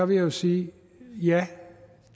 vil jeg sige at ja